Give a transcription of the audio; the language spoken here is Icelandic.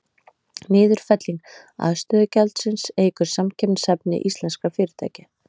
Niðurfelling aðstöðugjaldsins eykur samkeppnishæfni íslenskra fyrirtækja.